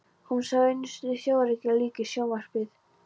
Hún sá einu sinni sjórekið lík í sjónvarpi.